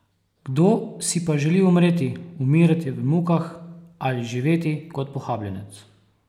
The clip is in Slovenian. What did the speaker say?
Kdo si pa želi umreti, umirati v mukah ali živeti kot pohabljenec?